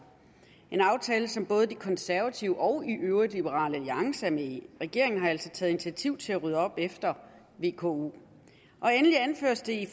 en aftale som både de konservative og i øvrigt liberal alliance er med i regeringen har altså taget initiativ til at rydde op efter vko endelig anføres det